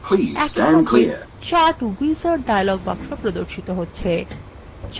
একই সাথে chart wizard dialog box প্রর্দশিত হচ্ছে